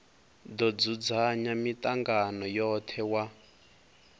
do dzudzanya mitangano yothe wa